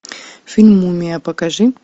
фильм мумия покажи